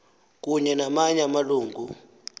kunye namanye amalungu